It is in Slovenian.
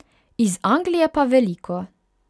Iz Anglije pa veliko.